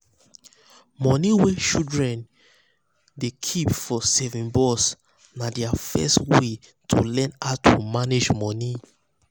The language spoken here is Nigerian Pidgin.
money wey children wey children dey keep for saving box na their first way to learn how to manage money.